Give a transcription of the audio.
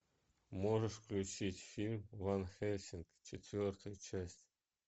можешь включить фильм ван хельсинг четвертая часть